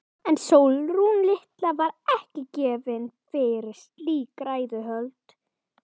En Sólrún litla var ekki gefin fyrir slík ræðuhöld.